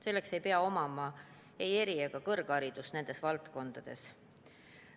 Selleks ei pea olema ei eri- ega kõrgharidust nendes valdkondades.